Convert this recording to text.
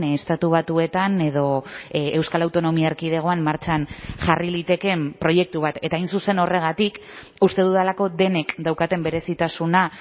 estatu batuetan edo euskal autonomia erkidegoan martxan jarri litekeen proiektu bat eta hain zuzen horregatik uste dudalako denek daukaten berezitasuna